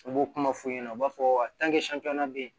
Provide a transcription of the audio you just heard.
U b'o kuma f'u ɲɛna u b'a fɔ bɛ yen